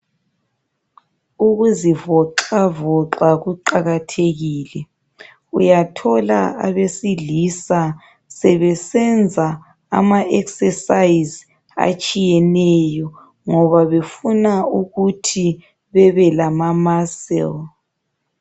Ukuzivoxavoxa kuqakathekile. Uyathola abesilisa sebesenza ama exercise atshiyeneyo ngoba befuna ukuthi bebe lama muscles.